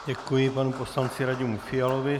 Děkuji panu poslanci Radimu Fialovi.